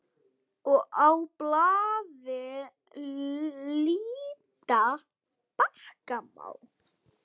Á blaði líta bakka má.